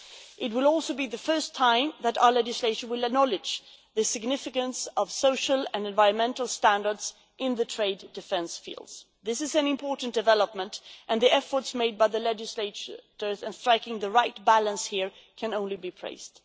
It will also be the first time that our legislation will acknowledge the significance of social and environmental standards in the trade defence field. This is an important development, and the efforts made by the legislature in striking the right balance here can only be praised.